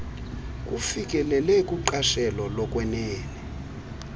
kufikelelwe kuqashelo lokwenene